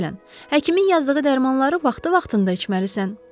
Məsələn, həkimin yazdığı dərmanları vaxtı-vaxtında içməlisən.